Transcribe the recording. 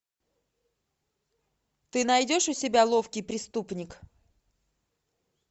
ты найдешь у себя ловкий преступник